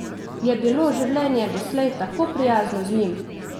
Je bilo življenje doslej tako prijazno z njim?